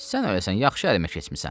Sən öləsən, yaxşı əmə keçmisən.